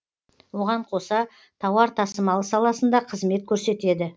оған қоса тауар тасымалы саласында қызмет көрсетеді